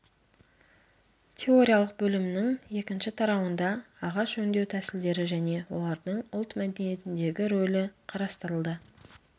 теориялық бөлімінің екінші тарауында ағаш өңдеу тәсілдері және олардың ұлт мәдениетіндегі рөлі қарастырылды